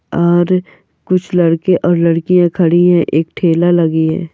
और कुछ लड़के और लड़कियां खड़ी है एक ठेला लगी है।